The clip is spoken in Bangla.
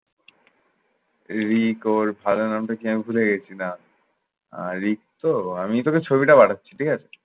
ঋক অর ফারাহ নামটা কি আমি ভুলে গেছি না, আহ ঋক তো আমি তোকে ছবিটা পাঠাচ্ছি। ঠিক আছে?